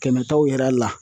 Kɛmɛ taw yer'a la